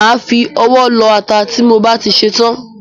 Má á fi ọwọ́ lọ ata ti mo bá ti ṣetán.